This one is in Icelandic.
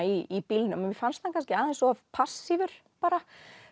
í bílnum mér fannst hann kannski aðeins of passífur bara